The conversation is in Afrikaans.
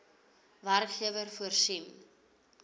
werkgewer voorsien